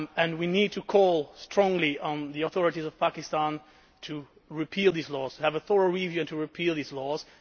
We need to call strongly on the authorities of Pakistan to repeal these laws, to have a thorough review and to repeal these laws.